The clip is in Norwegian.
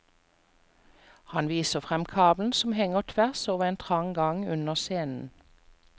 Han viser frem kabelen som henger tvers over en trang gang under scenen.